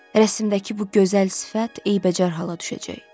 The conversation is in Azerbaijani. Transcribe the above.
Rəsmdəki bu gözəl sifət eybəcər hala düşəcək.